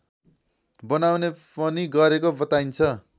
बनाउने पनि गरेको बताइन्छ